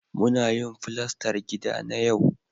Muna yin fulastar gida na yau